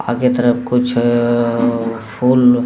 आगे तरफ कुछ अ फूल --